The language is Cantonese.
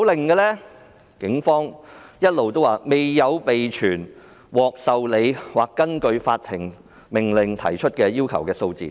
警方說沒有備存獲受理或根據法庭命令提出要求的數字。